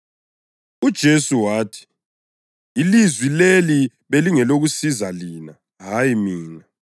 UJesu wathi, “Ilizwi leli belingelokusiza lina, hayi mina.